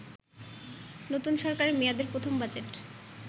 নতুন সরকার মেয়াদের প্রথম বাজেট